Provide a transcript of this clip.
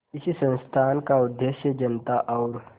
इस संस्थान का उद्देश्य जनता और